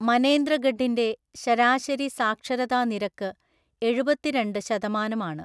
മനേന്ദ്രഗഢിന്റെ ശരാശരി സാക്ഷരതാ നിരക്ക് എഴുപത്തിരണ്ട് ശതമാനം ആണ്.